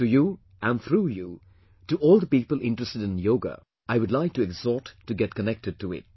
To you and through you to all the people interested in Yoga, I would like to exhort to get connected to it